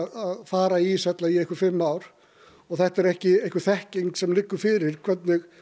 að fara í íshella í einhver fimm ár og þetta er ekki einhver þekking sem liggur fyrir hvernig